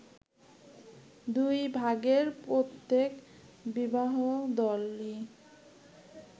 দুই ভাগের প্রত্যেক বিবাহদলই